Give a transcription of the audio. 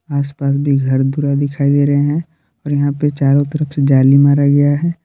आसपास भी घर दुरा दिखाई दे रहे हैं और यहां पे चारों तरफ से जाली मारा गया है।